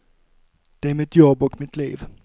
Det är mitt jobb och mitt liv.